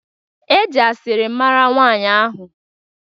E ji asịrị mara nwanyị ahụ